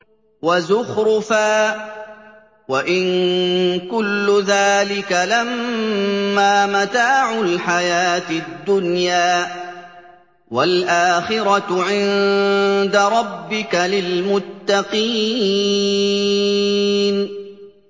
وَزُخْرُفًا ۚ وَإِن كُلُّ ذَٰلِكَ لَمَّا مَتَاعُ الْحَيَاةِ الدُّنْيَا ۚ وَالْآخِرَةُ عِندَ رَبِّكَ لِلْمُتَّقِينَ